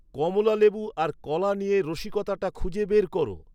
কমলা লেবু আর কলা নিয়ে রসিকতাটা খুঁজে বের করো